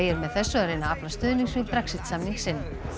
með þessu að reyna að afla stuðnings við Brexit samning sinn